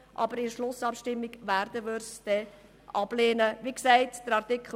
In der Schlussabstimmung werden wir Grüne die StG-Revision aber ablehnen.